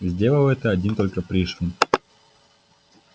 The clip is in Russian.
сделал это один только пришвин